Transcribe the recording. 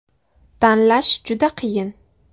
“Tanlash juda qiyin.